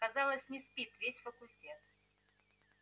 казалось не спит весь факультет